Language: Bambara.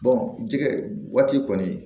jɛgɛ waati kɔni